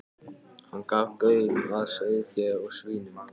Hann gaf gaum að sauðfé, að svínum.